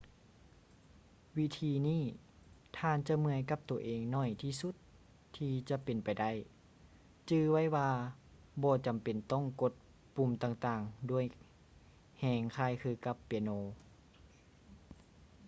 ວິທີນີ້ ທ່ານຈະເມື່ອຍກັບໂຕເອງໜ້ອຍທີ່ສຸດທີ່ຈະເປັນໄປໄດ້ ຈື່ໄວ້ວ່າບໍ່ຈຳເປັນຕ້ອງກົດປຸ່ມຕ່າງໆດ້ວຍແຮງຄ້າຍຄືກັບເປຍໂນ